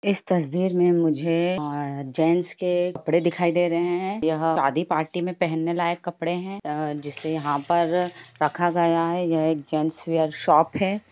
इस तस्वीर मे मुझे जैंट्स के कपड़े दिखाई दे रहे है। यह शादी पार्टी मे पहने लायक कपड़े है। जिसे यहाँ पर रखा गया है। यह एक जैंट्स वियर शॉप है ।